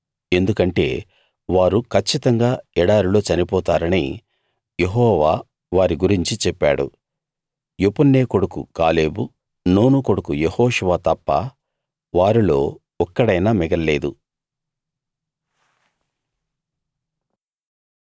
ఎందుకంటే వారు కచ్చితంగా ఎడారిలో చనిపోతారని యెహోవా వారి గురించి చెప్పాడు యెపున్నె కొడుకు కాలేబు నూను కొడుకు యెహోషువ తప్ప వారిల్లో ఒక్కడైనా మిగల్లేదు